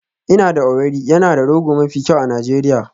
Ina da Owerri yana da rogo mafi kyau a Najeriya